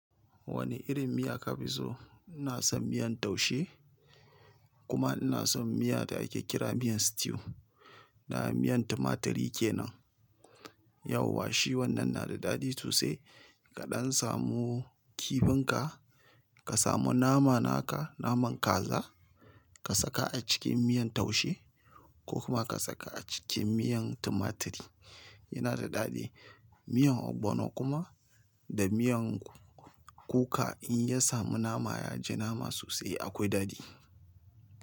Wani irin miya ka fi so? Ina san miyan taushe kuma ina son miya da ake kira miyan stew. Na miyan tumaturi kenan. Yauwa shi wannan na da daɗi sosai. Kaɗan samu kifinka ka samu nama naka naman kaza ka saka a cikin miyan taushe ko kuma ka saka a cikin miyan tumaturi yana da daɗi. Miyan ogbono kuma da miyan kuka in ya samu nama ya ji nama sosai akwai dadi.